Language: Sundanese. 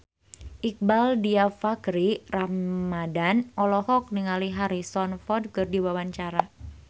Iqbaal Dhiafakhri Ramadhan olohok ningali Harrison Ford keur diwawancara